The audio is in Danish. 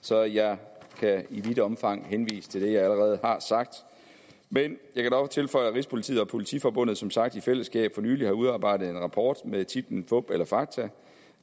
så jeg kan i vidt omfang henvise til det jeg allerede har sagt men jeg kan dog tilføje at rigspolitiet og politiforbundet som sagt i fællesskab for nylig har udarbejdet en rapport med titlen fup eller fakta